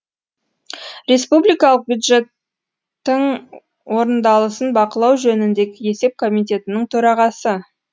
республикалық бюджеттің орындалысын бақылау жөніндегі есеп комитетінің төрағасы